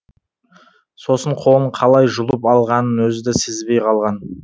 сосын қолын қалай жұлып алғанын өзі де сезбей қалған